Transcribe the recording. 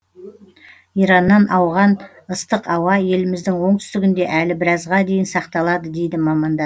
ираннан ауған ыстық ауа еліміздің оңтүстігінде әлі біразға дейін сақталады дейді мамандар